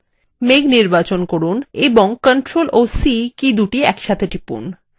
মেঘ নির্বাচন করুন এবং ctrl ও c কীদুটি একসাথে টিপুন